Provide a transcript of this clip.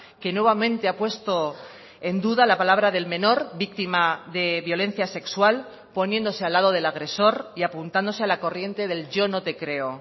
que nuevamente ha puesto en duda la palabra del menor víctima de violencia sexual poniéndose al lado del agresor y apuntándose a la corriente del yo no te creo